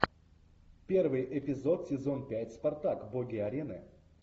первый эпизод сезон пять спартак боги арены